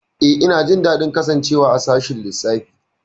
Eh, ina jin daɗin kasancewa a sashin lissafi.